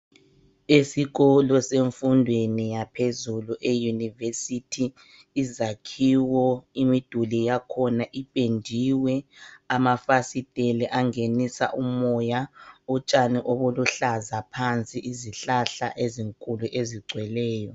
esikolo semfundweni yaphezulu e University izakhiwo imiduli yakhona ipendiwe amafasiteli angenisa umoya utshani obuluhlaza phansi izihlahla ezinkulu ezigcweleyo